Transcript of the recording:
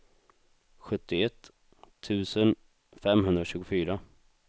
sjuttioett tusen femhundratjugofyra